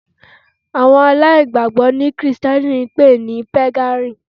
Àwọn aláìgbàgbọ́ ni Krìsìtẹ́nì ń pè ní Pégànì